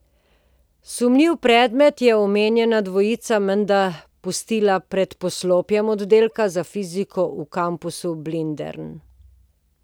Sumljivi predmet je omenjena dvojica menda pustila pred poslopjem oddelka za fiziko v kampusu Blindern.